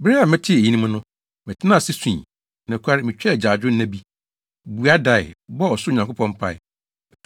Bere a metee eyinom no, metenaa ase sui. Nokware, mitwaa agyaadwo nna bi, bua dae, bɔɔ ɔsoro Nyankopɔn mpae.